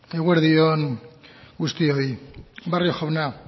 eguerdi on guztioi barrio jauna